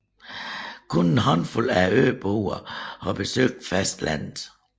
Kun en håndfuld af øboerne har besøgt fastlandet